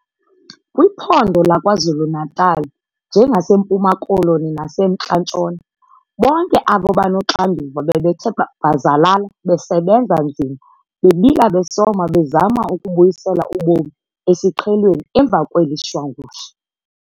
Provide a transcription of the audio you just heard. Kwiphondo laKwaZuluNatal, njengaseMpuma Koloni naseMntla Ntshona, bonke abo banoxanduva bebethe bhazalala besebenza nzima bebila besoma bezama ukubuyisela ubomi esiqhelweni emva kweli shwangusha.